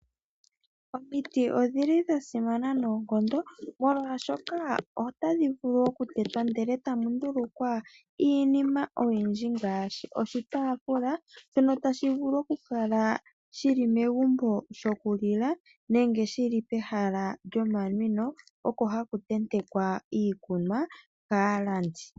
Omiti odhili dha simana noonkondo. Molwaashoka otadhi vulu okutetwa ndele tamu ndulukwa iinima oyindji. Ngaashi oshitaafula shono tashi vulu okukala shili megumbo shokulila nenge shili pehala lyomanwino oko haku tentekwa iikunwa kaalandi.